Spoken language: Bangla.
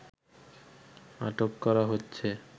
আটক করা হচ্ছে